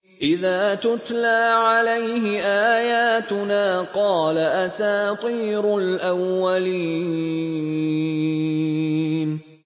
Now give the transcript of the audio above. إِذَا تُتْلَىٰ عَلَيْهِ آيَاتُنَا قَالَ أَسَاطِيرُ الْأَوَّلِينَ